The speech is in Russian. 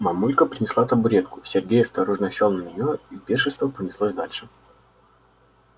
мамулька принесла табуретку сергей осторожно сел на неё и пиршество понеслось дальше